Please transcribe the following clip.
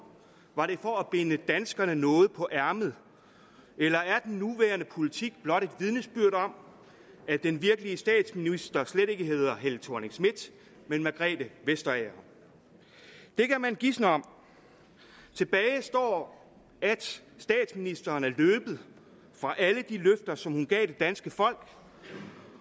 var det for at binde danskerne noget på ærmet eller er den nuværende politik blot et vidnesbyrd om at den virkelige statsminister slet ikke hedder helle thorning schmidt men margrethe vestager det kan man gisne om tilbage står at statsministeren er løbet fra alle de løfter som hun gav det danske folk